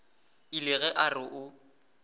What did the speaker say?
ile ge a re o